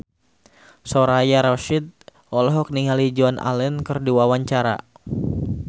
Soraya Rasyid olohok ningali Joan Allen keur diwawancara